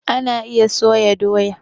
Ana iya soya doya